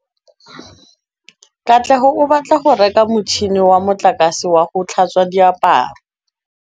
Katlego o batla go reka motšhine wa motlakase wa go tlhatswa diaparo.